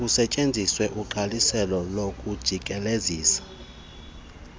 kusetyenziswe umgqaliselo wokujikelezisa